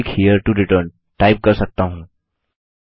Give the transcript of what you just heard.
click here to return type कर सकता हूँ